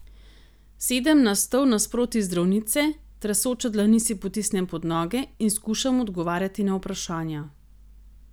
Sedem na stol nasproti zdravnice, tresoče dlani si potisnem pod noge in skušam odgovarjati na vprašanja.